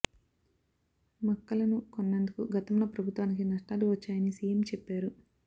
మక్కలను కొన్నందుకు గతంలో ప్రభుత్వానికి నష్టా లు వచ్చాయని సీఎం చెప్పారు